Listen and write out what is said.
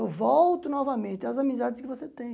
Eu volto novamente às amizades que você tem.